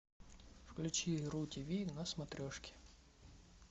включи ру тиви на смотрешке